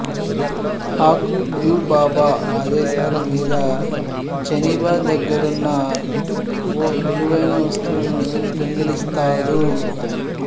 Haku Yubaba ఆదేశాల మీద Zeniba దగ్గరున్న ఓ విలువైన వస్తువును దొంగిలిస్తాడు